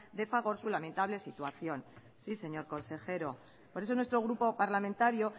de fagor su lamentable situación sí señor consejero por eso nuestro grupo parlamentario